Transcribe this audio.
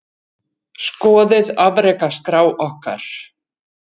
Skoðið afrekaskrá okkar